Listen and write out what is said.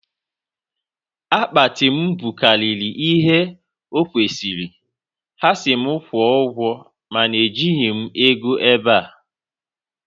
Akpati m bukarịrị ihe o kwesịrị, ha si mụ kwụọ ụgwọ mana ejighị m ego ebea